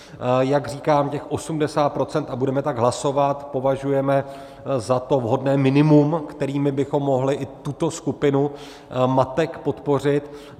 Jak říkám, těch 80 %- a budeme tak hlasovat - považujeme za to vhodné minimum, kterými bychom mohli i tuto skupinu matek podpořit.